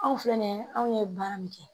Anw filɛ nin ye anw ye baara min kɛ